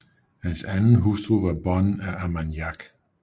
Hans anden hustru var Bonne af Armagnac